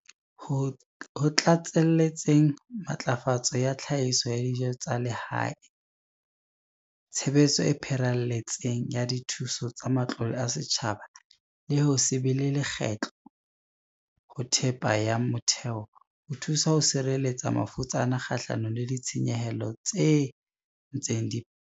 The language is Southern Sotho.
Ho tlatselletseng matlafatso ya tlhahiso ya dijo tsa lehae, tshebetso e pharelletseng ya dithuso tsa matlole a setjhaba le ho se be le lekgetho ho thepa ya motheo ho thuso ho sireletsa mafutsana kgahlanong le ditshenyehelo tse ntseng di phahama.